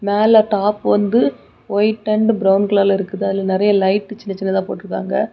மேல டாப் வந்து white and brown கலர்ல இருக்குது அதுல நெறைய லைட் சின்ன சின்னதா போட்ருக்காங்க.